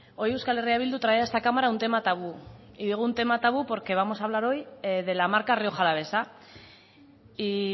hoy euskal herria bildu trae a esta cámara un tema tabú y digo un tema tabú porque vamos a hablar hoy de la marca rioja alavesa y